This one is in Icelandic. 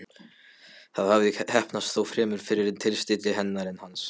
Það hafði heppnast, þó fremur fyrir tilstilli hennar en hans.